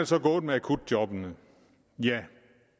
så gået med akutjobbene ja